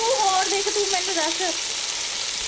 ਤੂੰ ਹੋਰ ਦੇਖ ਤੂੰ ਮੈਨੂੰ ਦੱਸ।